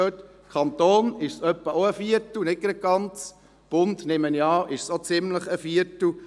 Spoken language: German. Beim Kanton ist es auch etwa ein Viertel, nicht ganz, und beim Bund nehme ich an, ist es auch ungefähr ein Viertel.